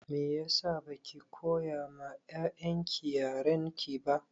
Meyasa baki koya ma 'ya'yan ki yarenki ba?